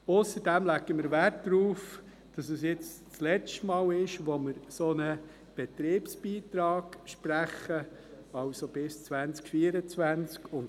Ausserdem legen wir Wert darauf, dass es jetzt das letzte Mal ist, dass wir einen solchen Betriebsbeitrag sprechen, das heisst bis 2024.